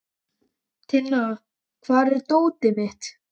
Tinna, hvar er dótið mitt?